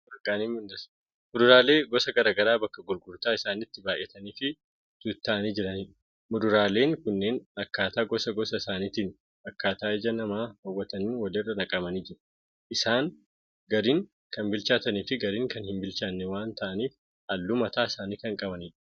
Fuduraalee gusa garaagaraa bakka gurgurtaa isaaniitti baay'ataniifi tuutta'anii jiranidha. Muduraaleen kunneen akkaataa gosa gosa isaaniitiin akkaataa ija namaa hawwataniin walirra naqamanii jiru. Isaaniis gariin kan bilchaataniifi gariin kan hin bilchaanne waan ta'aniif halluu mataa isaanii kan qabanidha.